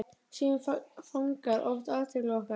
Síminn fangar oft athygli okkar.